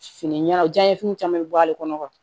Fini ɲɛnajɛfiniw caman bɛ bɔ ale kɔnɔ